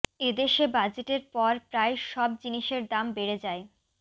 এদেশে বাজেটের পর প্রায় সব জিনিসের দাম বেড়ে যায়